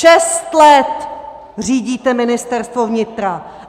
Šest let řídíte Ministerstvo vnitra!